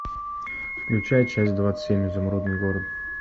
включай часть двадцать семь изумрудный город